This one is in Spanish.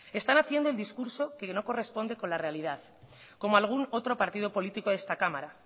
están haciendo el discurso que no corresponde con la realidad como algún otro partido político de esta cámara